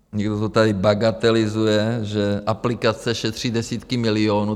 Někdo to tady bagatelizuje, že aplikace šetří desítky milionů.